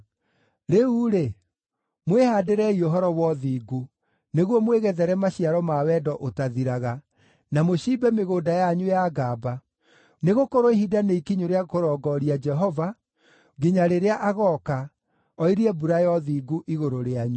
Rĩu-rĩ, mwĩhaandĩrei ũhoro wa ũthingu, nĩguo mwĩgethere maciaro ma wendo ũtathiraga, na mũciimbe mĩgũnda yanyu ya ngamba; nĩgũkorwo ihinda nĩ ikinyu rĩa kũrongooria Jehova, nginya rĩrĩa agooka, oirie mbura ya ũthingu igũrũ rĩanyu.